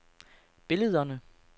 billederne